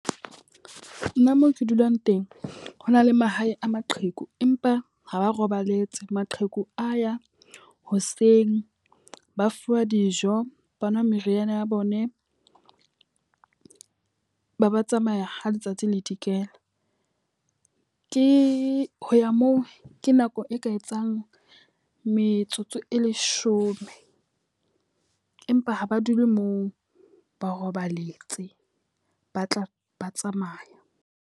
Nna mo ke dulang teng. Ho na le mahae a maqheku empa ha ba robaletse. Maqheku a ya hoseng, ba fuwa dijo, ba nwa meriana ya bone, ba ba tsamaya ha letsatsi le dikela. Ke ho ya moo ke nako e ka etsang metsotso e leshome empa ha ba dule moo, ba robaletse ba tla ba tsamaya.